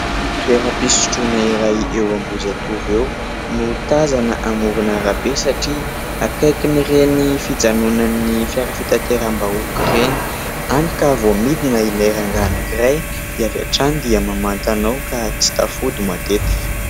Toeram-pisotroana iray eo Ambohijatovo eo no tazana amoron'arabe satria akaikin'ireny fijanonan'ny fiara fitateram-bahoaka ireny, hany ka vao midina ilay rangahy anankiray dia avy hatrany dia mamantana ao ka tsy tafody matetika.